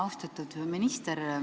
Austatud minister!